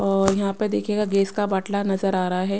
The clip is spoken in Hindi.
और यहां पर देखिएगा गैस का बाटला नजर आ रहा है।